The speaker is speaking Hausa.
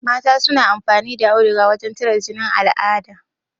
Mata suna amfani da auduga wurin tare jinin al'ada